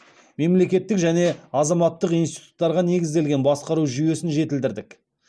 мемлекеттік және азаматтық институттарға негізделген басқару жүйесін жетілдірдік